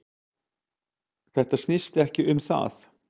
Þetta snýst ekki um það